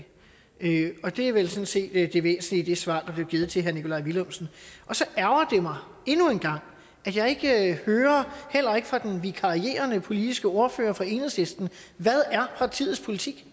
ikke og det er vel sådan set det væsentlige i det svar der blev givet til herre nikolaj villumsen og så ærgrer det mig endnu en gang at jeg ikke hører heller ikke fra den vikarierende politiske ordfører fra enhedslisten hvad er partiets politik